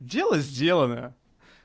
дело сделано